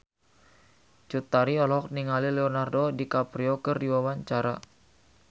Cut Tari olohok ningali Leonardo DiCaprio keur diwawancara